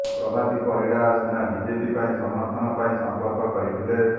ପ୍ରଭାତୀ ପରିଡ଼ା ସିନା ବିଜେପି ପାଇଁ ସମର୍ଥନ ପାଇଁ ସଂପର୍କ କରିଥିଲେ